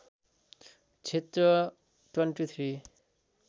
क्षेत्र २३